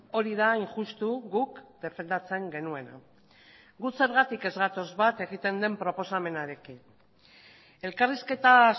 hori da hain justu guk defendatzen genuena gu zergatik ez gatoz bat egiten den proposamenarekin elkarrizketa